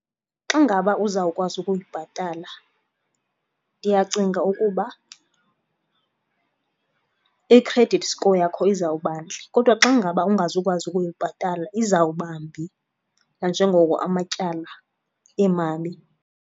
Xa ngaba uzawukwazi ukuyibhatala ndiyacinga ukuba i-credit score yakho izawuba ntle kodwa xa ngaba ungazukwazi ukuyibhatala izawuba mbi nanjengoko amatyala emabi